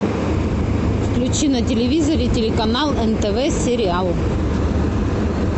включи на телевизоре телеканал нтв сериал